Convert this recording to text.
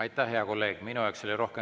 Aitäh, hea kolleeg!